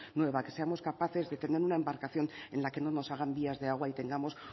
nueva que seamos capaces de tener una embarcación en la que no nos hagan vías de agua y tengamos